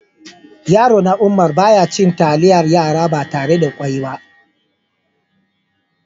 Yaro na Umar, ba ya cin talliyar yara ba tarre da ƙwoi ba.